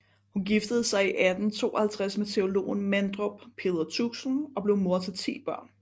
Hun giftede sig i 1852 med teologen Mandrup Peder Tuxen og blev mor til 10 børn